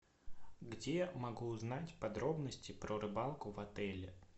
где могу узнать подробности про рыбалку в отеле